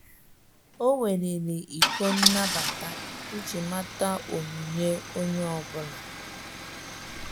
Ọ́ weliri ịkọ nnabata iji màtá onyinye onye ọ bụla.